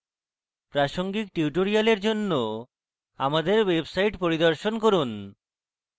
প্রাসঙ্গিক tutorials জন্য আমাদের website পরিদর্শন করুন